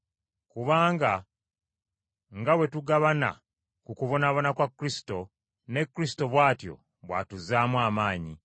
Kubanga nga bwe tugabana ku kubonaabona kwa Kristo, ne Kristo bw’atyo bw’atuzzaamu amaanyi.